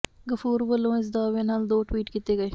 ਗਫੂਰ ਵੱਲੋਂ ਇਸ ਦਾਅਵੇ ਨਾਲ ਦੋ ਟਵੀਟ ਕੀਤੇ ਗਏ